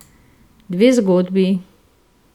Dve zgodbi.